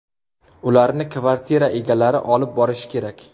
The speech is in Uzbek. Ularni kvartira egalari olib borishi kerak.